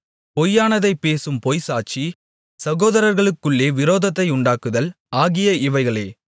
பொய்யானதைப் பேசும் பொய்ச்சாட்சி சகோதரர்களுக்குள்ளே விரோதத்தை உண்டாக்குதல் ஆகிய இவைகளே